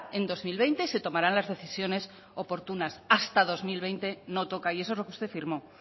en dos mil veinte se tomarán las decisiones oportunas hasta dos mil veinte no toca y eso es lo que usted firmó